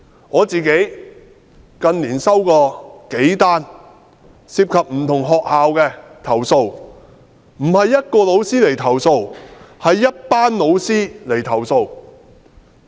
我近年收過數宗涉及不同學校的投訴，不是一位老師，而是一群老師的投訴。